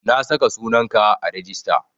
Na saka sunan ka a rijista